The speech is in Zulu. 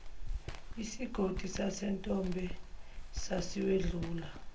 isigodi sasentombe sasiwedlula